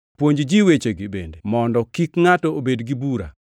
Puonj ji wechegi bende, mondo kik ngʼato obed gi bura.